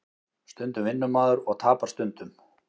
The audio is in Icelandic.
Stundum vinnur maður og tapar stundum